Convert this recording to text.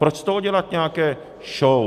Proč z toho dělat nějakou show?